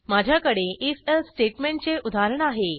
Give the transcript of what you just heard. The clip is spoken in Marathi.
माझ्याकडे if एल्से स्टेटमेंटचे उदाहरण आहे